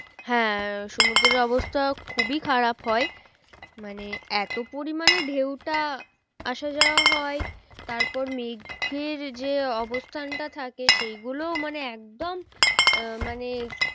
হ্যাঁ সমুদ্রের অবস্থা খুবই খারাপ হয় মানে এতো পরিমানে ঢেউটা আসা যাওয়া হয় তারপর মেঘের যে অবস্থানটা থাকে সেই গুলো মানে একদম আহ মানে